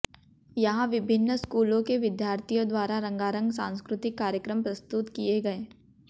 यहां विभिन्न स्कूलों के विद्यार्थियों द्वारा रंगारंग सांस्कृतिक कार्यक्रम प्रस्तुत किए गए